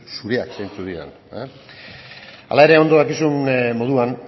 dizut zureak zeintzuk diren hala ere ondo dakizun moduan